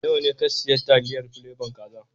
Nawa ne ka siya taliyar plebon kaza